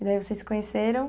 E daí vocês se conheceram?